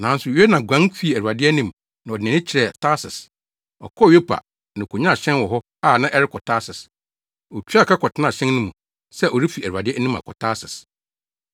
Nanso Yona guan fii Awurade anim na ɔde nʼani kyerɛɛ Tarsis. Ɔkɔɔ Yopa, na okonyaa hyɛn wɔ hɔ a na ɛrekɔ Tarsis. Otuaa ka kɔtenaa hyɛn no mu, sɛ ɔrefi Awurade anim akɔ Tarsis.